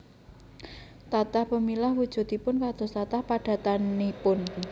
Tatah pemilah wujudipun kados tatah padatanipun